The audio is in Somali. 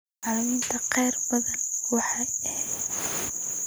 Macallimiinta qaar badanaa waa eex.